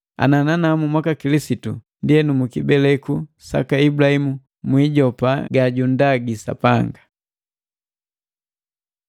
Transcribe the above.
Ana nanamu mwaka Kilisitu, ndienu mukibeleku saka Ibulahimu mwiijopa ga jundagi Sapanga.